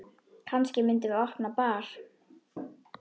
Kannski myndum við opna bar.